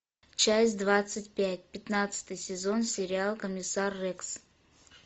часть двадцать пять пятнадцатый сезон сериал комиссар рекс